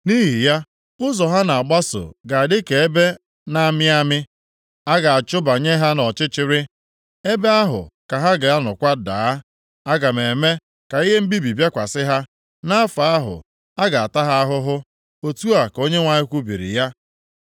“Nʼihi ya, ụzọ ha na-agbaso ga-adị ka ebe na-amị amị; a ga-achụbanye ha nʼọchịchịrị ebe ahụ ka ha ga-anọkwa daa. Aga m eme ka ihe mbibi bịakwasị ha nʼafọ ahụ, a ga-ata ha ahụhụ.” Otu a ka Onyenwe anyị kwubiri ya.